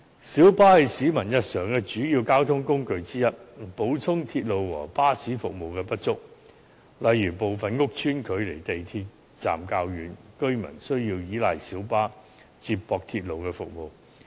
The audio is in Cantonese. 小巴是市民日常的主要交通工具之一，彌補鐵路和巴士服務的不足，例如部分屋邨距離港鐵站較遠，居民需要依賴小巴接駁鐵路服務。